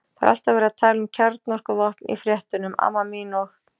Það er alltaf verið að tala um kjarnorkuvopn í frétt- unum, amma mín, og